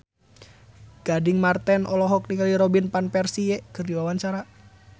Gading Marten olohok ningali Robin Van Persie keur diwawancara